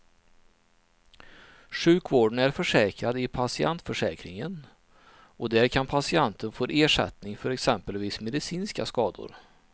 Sjukvården är försäkrad i patientförsäkringen och där kan patienten få ersättning för exempelvis medicinska skador.